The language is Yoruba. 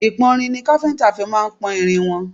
Ìpọ́nrin ni káfíńńtà fí máà ń pọ́n irin iṣẹ́.